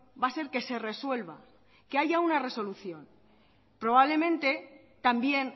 va a ser que se resuelva que haya una resolución probablemente también